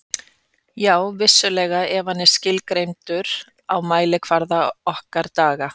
Já, vissulega ef hann er skilgreindur á mælikvarða okkar daga.